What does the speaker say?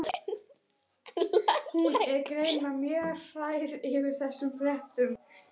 Hún er greinilega mjög hrærð yfir þessum fréttum.